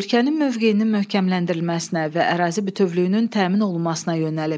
ölkənin mövqeyinin möhkəmləndirilməsinə və ərazi bütövlüyünün təmin olunmasına yönəlib.